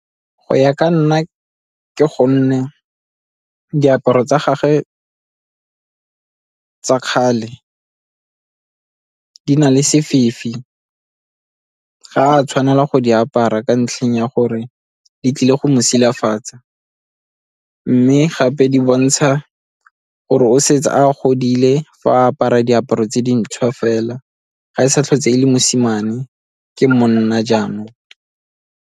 Go ya ka nna ke diaparo tsa gage tsa kgale di na le sefifi, ga a tshwanela go di apara ka ntlheng ya gore di tlile go mo silafatsa, mme gape di bontsha gore o setse a godile fa a apara diaparo tse dintsho fela ga e sa tlhole e le mosimane ke monna jaanong.